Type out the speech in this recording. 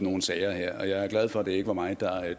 nogle sager her og jeg er glad for at det ikke var mig